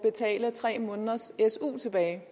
man